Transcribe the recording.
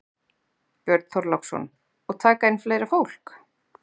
Björn Þorláksson: Og taka inn fleira fólk?